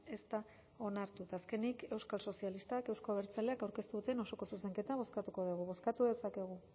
ez da onartu eta azkenik euskal sozialistak euzko abertzaleak aurkeztu duten osoko zuzenketa bozkatuko dugu bozkatu dezakegu